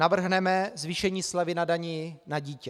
Navrhneme zvýšení slevy na dani na dítě.